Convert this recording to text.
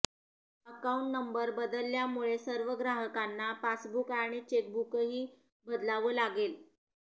account number बदलल्यामुळे सर्व ग्राहकांना पासबुक आणि चेकबुकही बदलावं लागेल